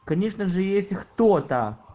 конечно же есть кто-то